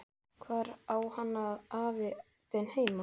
Hvar á hann afi þinn heima?